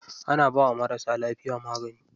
Ana bawa marasa lafiya magani.